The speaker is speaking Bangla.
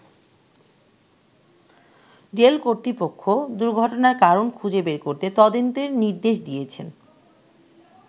রেল কর্তৃপক্ষ দুর্ঘটনার কারণ খুঁজে বের করতে তদন্তের নির্দেশ দিয়েছেন।